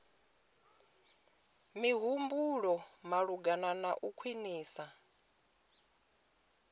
mihumbulo malugana na u khwinisa